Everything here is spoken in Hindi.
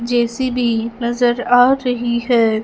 जे_सी_बी नजर आ रही है।